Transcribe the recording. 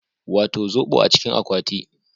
Wato zobo a cikin akwati